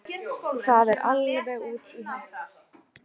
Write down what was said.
Það sé alveg út í hött